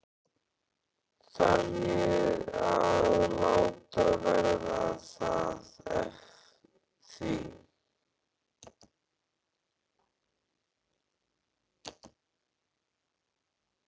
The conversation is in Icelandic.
Þarf ég þá að láta verða að því?